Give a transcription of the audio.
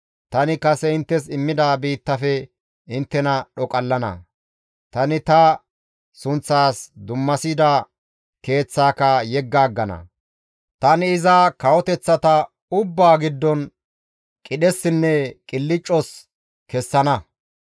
tani kase inttes immida biittafe inttena dhoqallana; tani ta sunththas dummasida Keeththaaka yegga aggana; tani iza kawoteththata ubbaa giddon qidhessinne qilccas kessana.